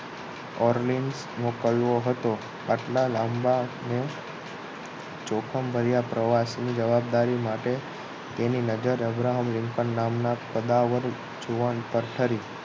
ઓરનિંગ્સ મોકલવો હતો આટલા લાંબા અને જોખમ ભર્યા પ્રવાસ ની જવાબદારી માટે તેની નજર અબ્રાહમ લિંકન નામના કદાવર જુવાન પર ઠરી